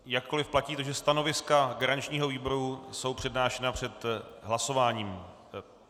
Jakkoliv platí to, že stanoviska garančního výboru jsou přednášena před hlasováním.